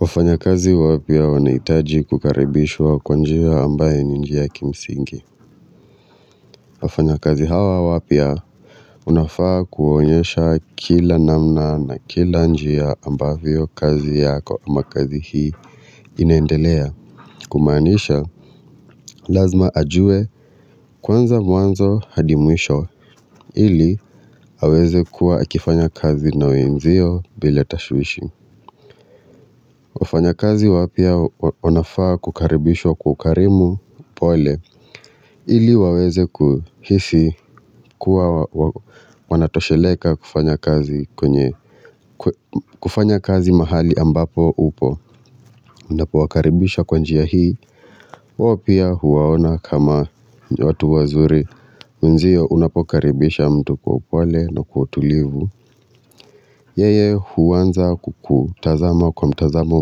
Wafanya kazi wapya wanahitaji kukaribishwa kwa njia ambayo ni njia ya kimsingi wafanya kazi hawa wapya unafaa kuonyesha kila namna na kila njia ambavyo kazi yako ama kazi hii inendelea Kumaanisha lazima ajue kwanza mwanzo hadi mwisho ili aweze kuwa akifanya kazi na wenzio bila tashwishwi wafanya kazi wapya wanafaa kukaribishwa kwa ukarimu upole ili waweze kuhisi kuwa wanatosheleka kufanya kazi kwenye kufanya kazi mahali ambapo upo. Unapo wakaribisha kwa njia hii. Wapya huwaona kama watu wazuri wenzio unapokaribisha mtu kwa upole na kwa utulivu. Yeye huwanza kukutazama kwa mtazamo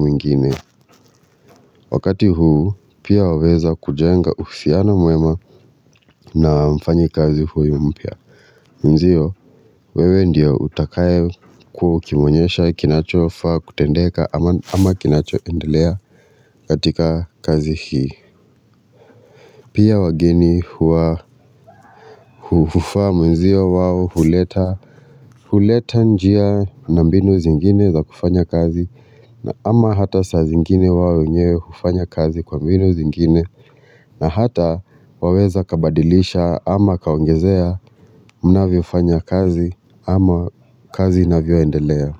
mwingine Wakati huu pia waweza kujenga uhusiano mwema na mfanya kazi huyu mpya Mwenzio wewe ndio utakaye kuwa ukimonyesha kinachofaa kutendeka ama kinachofaa kuendelea katika kazi hii Pia wageni huwa hufaa mwenzio wao huleta huleta njia na mbinu zingine za kufanya kazi na ama hata saa zingine wao wenyewe hufanya kazi kwa mbinu zingine na hata waweza kabadilisha ama kaongezea mnavyo fanya kazi ama kazi inavyo endelea.